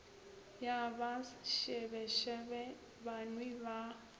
ya ba šebešebe banwi ba